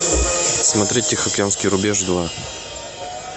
смотреть тихоокеанский рубеж два